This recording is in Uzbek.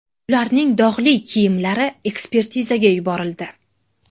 Ularning dog‘li kiyimlari ekspertizaga yuborildi.